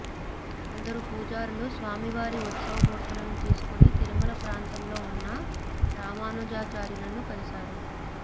కొందరు పూజారులు స్వామివారి ఉత్సవమూర్తులను తీసుకుని తిరుమల ప్రాంతంలో ఉన్న రామానుజాచార్యులను కలిశారు